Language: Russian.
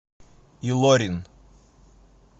илорин